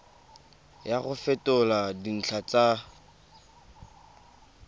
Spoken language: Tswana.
ya go fetola dintlha tsa